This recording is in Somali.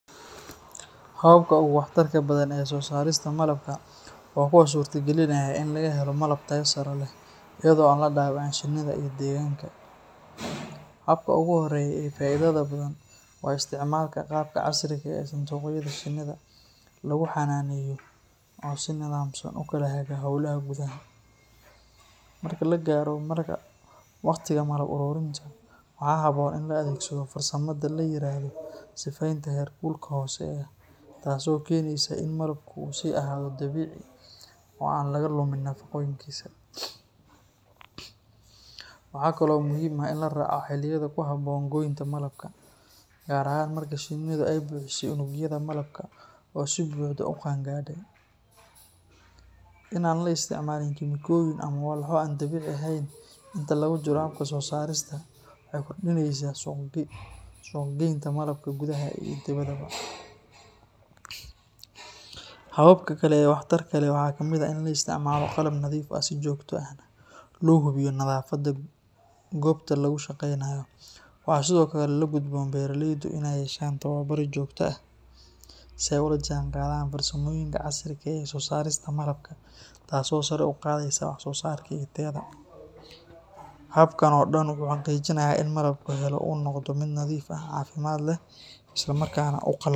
Hababka ugu waxtarka badan ee soosaarista malabka waa kuwa suurtagelinaya in laga helo malab tayo sare leh iyadoo aan la dhaawicin shinnida iyo deegaanka. Habka ugu horeeya ee faa’iidada badan waa isticmaalka qaabka casriga ah ee sanduuqyada shinnida lagu xanaaneeyo oo si nidaamsan u kala haga hawlaha gudaha. Marka la gaaro waqtiga malab ururinta, waxaa habboon in la adeegsado farsamada la yiraahdo sifeynta heerkulka hooseeya taasoo keeneysa in malabku uu sii ahaado dabiici oo aan laga lumin nafaqooyinkiisa. Waxaa kale oo muhiim ah in la raaco xilliyada ku habboon goynta malabka, gaar ahaan marka shinnidu ay buuxisay unugyada malabka oo si buuxda u qaan gaadhay. In aan la isticmaalin kiimikooyin ama walxo aan dabiici ahayn inta lagu jiro habka soosaarista waxay kordhinaysaa suuqgeynta malabka gudaha iyo dibaddaba. Hababka kale ee waxtarka leh waxaa kamid ah in la isticmaalo qalab nadiif ah si joogto ahna loo hubiyo nadaafadda goobta lagu shaqeynayo. Waxaa sidoo kale la gudboon beeraleyda inay yeeshaan tababarro joogto ah si ay ula jaanqaadaan farsamooyinka casriga ah ee soosaarista malabka taasoo sare u qaadaysa waxsoosaarka iyo tayada. Habkan oo dhan wuxuu xaqiijinayaa in malabka la helo uu noqdo mid nadiif ah, caafimaad leh, islamarkaana u qalma.